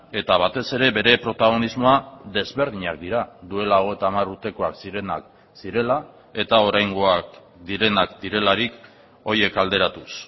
eta batez ere bere protagonismoa desberdinak dira duela hogeita hamar urtekoak zirenak zirela eta oraingoak direnak direlarik horiek alderatuz